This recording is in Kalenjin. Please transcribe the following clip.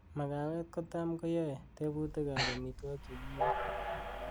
magawet ko tam kuyoe tebutik ab omitwogik chegiibe